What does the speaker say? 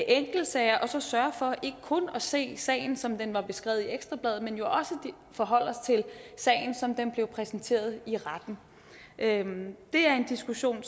enkeltsager og så sørge for ikke kun at se sagen som den var beskrevet i ekstra bladet men jo også forholde os til sagen som den blev præsenteret i retten det er en diskussion